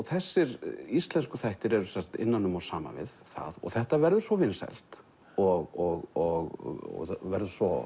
þessir íslensku þættir eru sem sagt innan um og saman við það og þetta verður svo vinsælt og verður svo